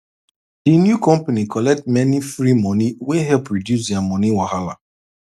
the new company collect many free money wey help reduce their money wahala